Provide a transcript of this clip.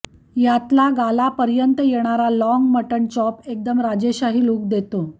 यातला गालापर्यंत येणारा लाँग मटण चॉप एकदम राजेशाही लुक देतो